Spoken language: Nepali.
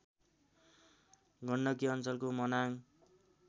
गण्डकी अञ्चलको मनाङ